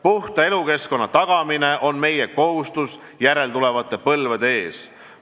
Puhta elukeskkonna tagamine on meie kohustus järeltulevate põlvede ees.